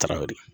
Tarawele